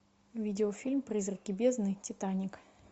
видеофильм призраки бездны титаник